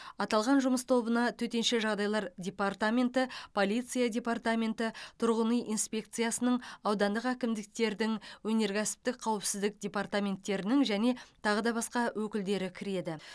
аталған жұмыс тобына төтенше жағдайлар департаменті полиция департаменті тұрғын үй инспекциясының аудандық әкімдіктердің өнеркәсіптік қауіпсіздік департаменттерінің және тағы да басқа өкілдері кіреді